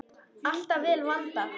Alltaf vel vandað.